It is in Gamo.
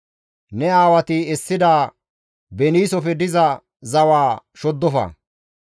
Ne aawati essida beniisofe diza zawaa shoddofa.